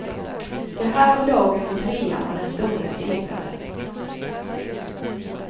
Det här var dagen då trean var den store segraren.